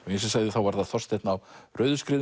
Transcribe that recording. og ég sagði var það Þorsteinn á